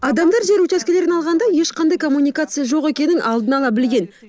адамдар жер учаскелерін алғанда ешқандай коммуникация жоқ екенін алдын ала білген